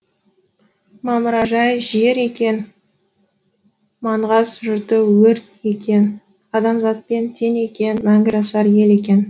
мамыражай жер екен маңғаз жұрты өрт екен адамзатпен тең екен мәңгі жасар ел екен